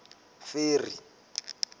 ferry